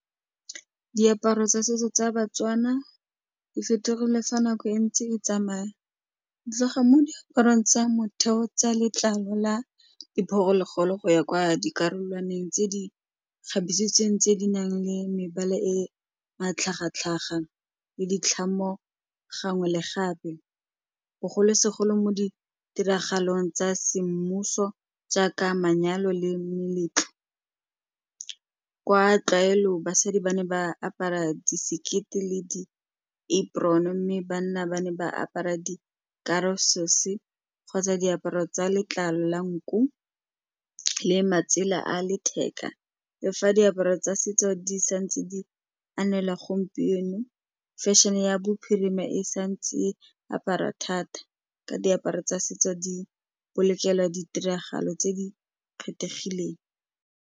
Diaparo tsa setso tsa ba-Tswana di fetogile fa nako e ntse e tsamaya, tloga mo diaparong tsa motheo tsa letlalo la diphologolo go ya kwa dikarolwaneng tse di kgabisitsweng tse di nang le mebala e matlhagatlhaga le ditlhamo, gangwe le gape, bogolosegolo mo ditiragalong tsa semmuso jaaka manyalo, le meletlo kwa tlwaelo basadi ba ne ba apara disekete le di apron-e, mme banna ba ne ba apara di kgotsa diaparo tsa letlalo la nku le matsela a letheka, lefa diaparo tsa setso di sa ntse di anela gompieno, fashion-e ya bophirima e sa ntseng apara thata ka diaparo tsa setso di kolekela ditiragalo tse di kgethegileng.